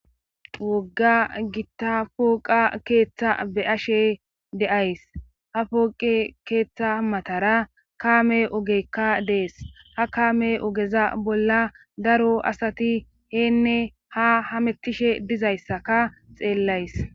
wogga gitta pooqa keeththa be'ashe de'ays ha pooqe keeththa matara kaame ogekka dees ha kaame ogeza bolla daro asati heenne ha hamettishe dizayssaka xeellays